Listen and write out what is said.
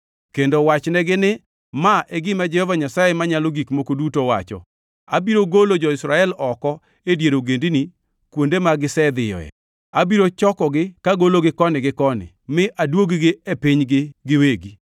kendo iwachnegi ni, ‘Ma e gima Jehova Nyasaye Manyalo Gik Moko Duto wacho: Abiro golo jo-Israel oko e dier ogendini kuonde ma gisedhiyoe. Abiro chokogi kagologi koni gi koni mi aduog-gi e pinygi giwegi.